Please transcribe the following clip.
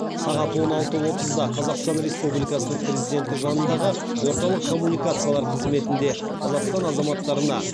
сағат он алты отызда қазақстан республикасының президенті жанындағы орталық коммуникациялар қызметінде қазақстан азаматтарына